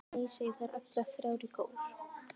Nei, segja þær allar þrjár í kór.